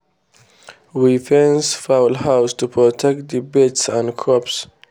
we fence fowl house to protect the birds and crops